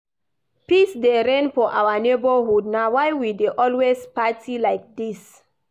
Peace dey reign for our neighborhood na why we dey always party like dis